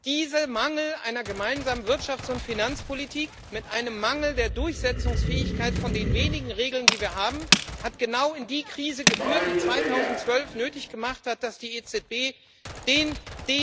Dieser Mangel einer gemeinsamen Wirtschafts und Finanzpolitik mit einem Mangel der Durchsetzungsfähigkeit von den wenigen Regeln, die wir haben, hat genau in die Krise geführt, die es 2012 nötig gemacht hat, dass die EZB tätig geworden ist.